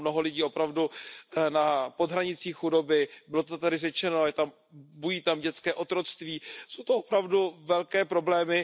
Je tam mnoho lidí opravdu pod hranicí chudoby, bylo to tady řečeno, bují tam dětské otroctví, jsou to opravdu velké problémy.